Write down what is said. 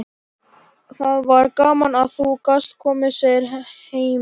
Það var gaman að þú gast komið, segir Hemmi.